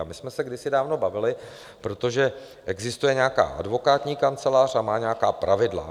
A my jsme se kdysi dávno bavili, protože existuje nějaká advokátní kancelář a má nějaká pravidla.